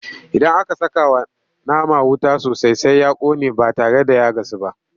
Idan aka sakawa nama wuta sosai Sai ya ƙone ba tare da ya gasu ba.